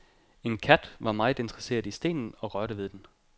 En kat var meget interesseret i stenen og rørte ved den.